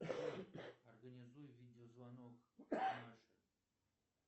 организуй видео звонок маше